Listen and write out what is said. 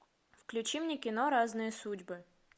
включи мне кино разные судьбы